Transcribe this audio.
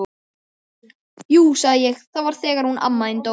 Jú sagði ég, það var þegar hún amma þín dó